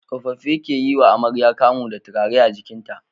Tsofaffi ke yiwa amarya kamu da turare a jikinta